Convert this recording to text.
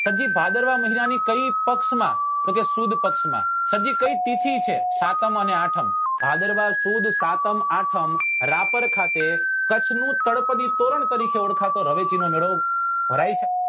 સબ જી ભાદરવા મહિના ની કયી પક્ષ માં તો કે સુદ પક્ષ માં સબ જી કઈ તિથી છે સાતમ અને આઠમ ભાદરવા સુદ સાતમ આઠમ રાપર ખાતે કચ્છ નું તળપદી તોરણ તરીકે ઓળખાતો રવ રવેચી નો મેળો ભરાય છે